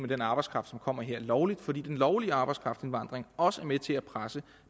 den arbejdskraft som kommer her lovligt fordi den lovlige arbejdskraftindvandring også er med til at presse